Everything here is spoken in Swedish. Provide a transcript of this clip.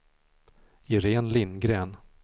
Iréne Lindgren